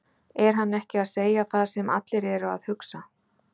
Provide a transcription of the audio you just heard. Er hann ekki að segja það sem allir eru að hugsa?